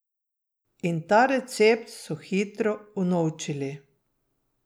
In ta recept so hitro unovčili.